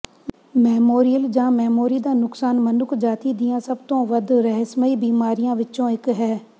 memorial ਜਾਂ memory ਦਾ ਨੁਕਸਾਨ ਮਨੁੱਖਜਾਤੀ ਦੀਆਂ ਸਭ ਤੋਂ ਵੱਧ ਰਹੱਸਮਈ ਬੀਮਾਰੀਆਂ ਵਿੱਚੋਂ ਇੱਕ ਹੈ